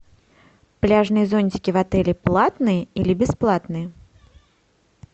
пляжные зонтики в отеле платные или бесплатные